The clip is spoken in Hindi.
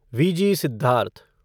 वीजी सिद्धार्थ